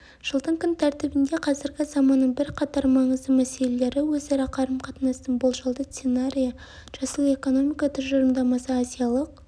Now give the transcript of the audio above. жылдың күн тәртібінде қазіргі заманның бірқатар маңызды мәселелері өзара қарым-қатынастың болжалды сценарийі жасыл экономика тұжырымдамасы азиялық